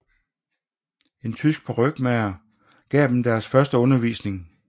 En tysk parykmager gav dem deres første undervisning